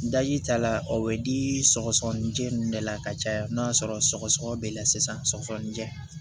ta la o bɛ di sɔgɔsɔgɔnijɛ ninnu de la ka caya n'a sɔrɔ sɔgɔsɔgɔ b'i la sisan sɔgɔsɔgɔninjɛ